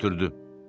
Götürdü.